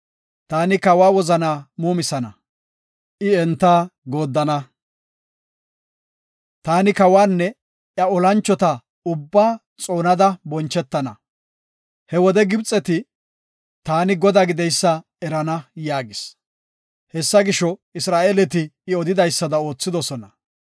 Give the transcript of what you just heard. Taani kawa wozanaa muumisana; I enta gooddana. Taani kawanne iya olanchota ubbaa xoonada bonchetana. He wode Gibxet taani Godaa gideysa erana” yaagis. Hessa gisho, Isra7eeleti I odidaysada oothidosona.